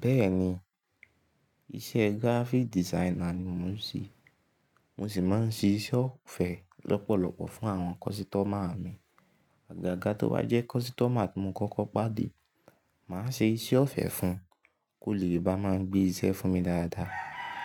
Bẹ́ẹ̀ni, iṣẹ́ graphic designer ni mò ń ṣe. Mo sì máa ń ṣe iṣẹ́ ọ̀fẹ́ lọ́pọ̀lọpọ̀ fún àwọn kọ́sítọ́mà mi. Àgàgà tó bá jẹ́ kọ́sítọ́mà tí mo kọ́kọ́ pàdé, màá ṣe iṣẹ́ ọ̀fẹ́ fún un kó lè bá máa gbé iṣẹ́ fún mi dáadáa.